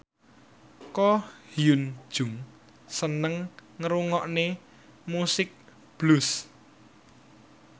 Ko Hyun Jung seneng ngrungokne musik blues